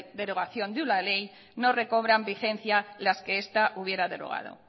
derogación de una ley no recobran vigencia las que esta hubiera derogado